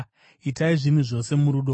Itai zvinhu zvose murudo.